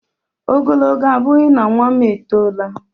Ogologo abụghị na nwam etola!